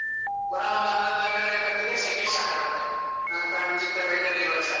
ಪುನ: ಒಂದು ಹನ್ನೊಂದ್ ಹನ್ನೆರಡ್ ಗಂಟೆ ಹೊತ್ತಿಗೆ, ಸೆಖೆ start ಆಗುತ್ತೆ. ಅಂಥಾ ವಿಚಿತ್ರ weather ಈ ವರ್ಷ.